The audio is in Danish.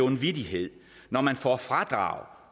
en vittighed når man får fradrag